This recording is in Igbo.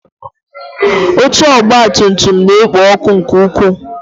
Oche ọgabtumtum na-ekpo ọkụ nke ukwuu.